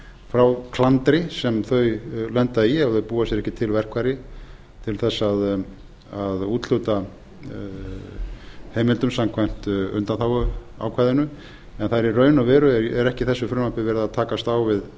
frá klandri sem þau lenda í ef þau búa sér ekki til verkfæri til þess að hlusta heimildum samkvæmt undanþáguákvæðinu en í raun og veru er ekki í þessu frumvarpi verið að takast á